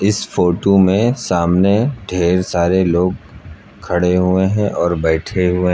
इस फोटो में सामने ढेर सारे लोग खड़े हुए हैं और बैठे हुए--